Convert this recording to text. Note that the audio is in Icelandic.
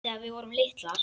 Þegar við vorum litlar.